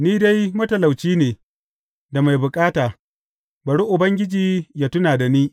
Ni dai matalauci ne da mai bukata; bari Ubangiji yă tuna da ni.